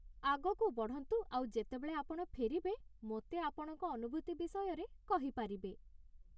ଆଗକୁ ବଢ଼ନ୍ତୁ ଆଉ ଯେତେବେଳେ ଆପଣ ଫେରିବେ, ମୋତେ ଆପଣଙ୍କ ଅନୁଭୂତି ବିଷୟରେ କହିପାରିବେ ।